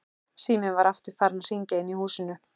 Síminn var aftur farinn að hringja inni í húsinu.